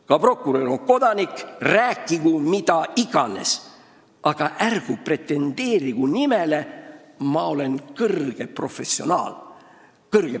Ka prokurör on kodanik – rääkigu mida iganes, aga ärgu pretendeerigu sellele, et ta on professionaal.